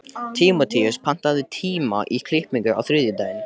Tímóteus, pantaðu tíma í klippingu á þriðjudaginn.